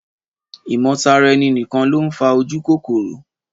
Ìmọ̀- tara- ẹni-nìkan ló ń fa ojúkòkòrò